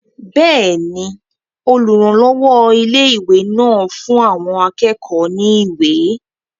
Bẹ́ẹ̀ni, olùrànlọ́wọ́ ilé-ìwé náà fún àwọn akẹ́kọ̀ọ́ náà ní ìwé